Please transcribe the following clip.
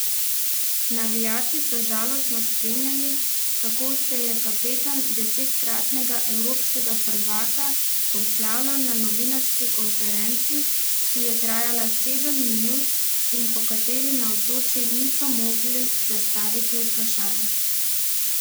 Navijači so žalostno spremljali, kako se je kapetan desetkratnega evropskega prvaka poslavljal na novinarski konferenci, ki je trajala sedem minut in po kateri navzoči niso mogli zastaviti vprašanj.